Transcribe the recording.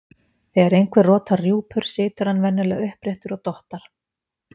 þegar einhver rotar rjúpur situr hann venjulega uppréttur og dottar